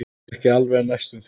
Ekki alveg en næstum því.